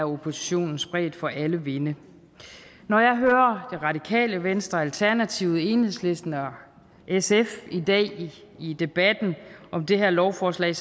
oppositionen spredt for alle vinde når jeg hører det radikale venstre alternativet enhedslisten og sf i debatten om det her lovforslag i